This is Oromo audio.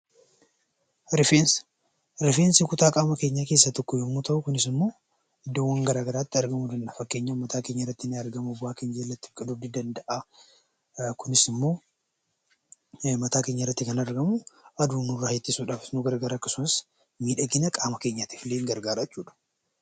Rifeensa. Rifeensi kutaa qaama keenyaa keessaa tokko yammuu ta'u; kunis immoo idddoowwan garaa garaatti argama. Fakkeenyaaf buqqee mataa keenyaa irratti, bobaa keenya jalatti argamuu ni danda'a. Kunis immoo mataa keenya irratti kan argamu aduu nurraa ittisuuf akkasumas miidhagina qaama keenyaafis ni gargaara.